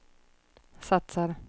satsar